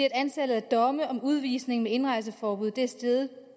antallet af domme om udvisning med indrejseforbud er steget